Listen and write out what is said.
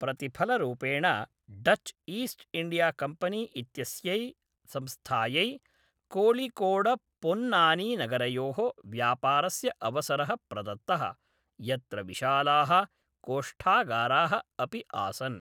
प्रतिफलरूपेण Dutch East India company इत्यस्यै संस्थायै कोळिकोडपोन्नानीनगरयोः व्यापारस्य अवसरः प्रदत्तः, यत्र विशालाः कोष्ठागाराः अपि आसन्।